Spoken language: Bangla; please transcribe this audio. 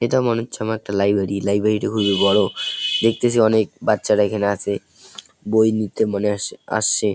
এটা মনে হচ্ছে আমার একটা লাইব্রেরি । লাইব্রেরি -টি খুবই বড়ো । দেখতেছি অনেক বাচ্চারা এখানে আছে বই নিতে মনে হয় আস আসছে।